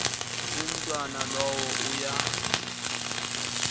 umntwana lowo uya